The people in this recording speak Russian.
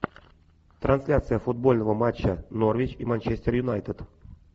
трансляция футбольного матча норвич и манчестер юнайтед